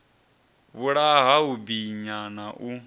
vhulaha u binya na u